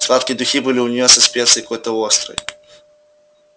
сладкие духи были у нее со специей какой-то острой